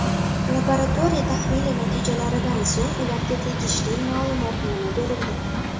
Laboratoriya tahlili natijalaridan so‘ng ularga tegishli ma’lumotnoma berildi.